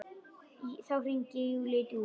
Þá hringir Júlía í Dúu.